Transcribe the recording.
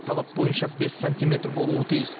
талап бойнша бес сантиметр болуы тиіс